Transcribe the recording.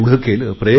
प्रयत्न केले